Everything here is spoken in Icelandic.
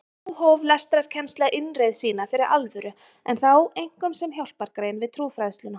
Þá hóf lestrarkennsla innreið sína fyrir alvöru en þá einkum sem hjálpargrein við trúfræðsluna.